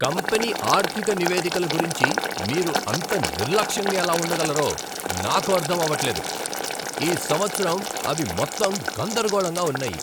Company ఆర్థిక నివేదికల గురించి మీరు అంత నిర్లక్ష్యంగా ఎలా ఉండగలరో నాకు అర్థం అవట్లేదు. ఈ సంవత్సరం అవి మొత్తం గందరగోళంగా ఉన్నాయి.